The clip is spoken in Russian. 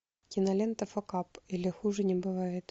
кинолента факап или хуже не бывает